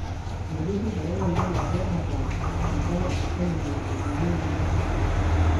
meeti shida ekindim ake ataas enkae appointment naa ninyhe iyieu